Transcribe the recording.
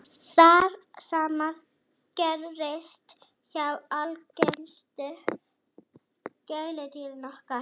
það sama gerist hjá algengustu gæludýrum okkar